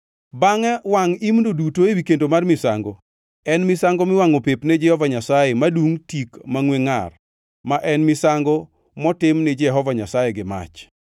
Bangʼe wangʼ imno duto ewi kendo mar misango. En misango miwangʼo pep ne Jehova Nyasaye madungʼ tik mangʼwe ngʼar, ma en misango motim ni Jehova Nyasaye gi mach.